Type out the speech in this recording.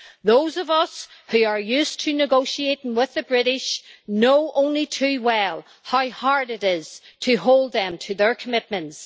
Those of us who are used to negotiating with the British know only too well how hard it is to hold them to their commitments.